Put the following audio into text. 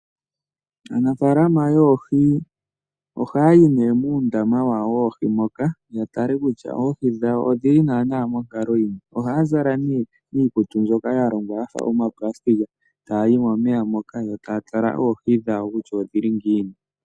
Aanafalama yoohi ohaya yi ne muundama wawo woohi moka yatale kutya oohi dhawo odhili nana monkalo yili ngiini ohaya zala ne iikutu mbyoka yalongwa yafa omaplasitika tayi momeya moka yo taya tala oohi dhawo kutya odhili ngiini.